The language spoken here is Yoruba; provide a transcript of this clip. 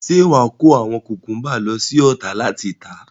Ṣé wàá kó àwọn kùkúnbà lọ sí Ọ̀tà láti tà.